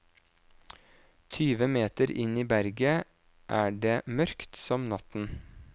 Tyve meter inn i berget er det mørkt som natten.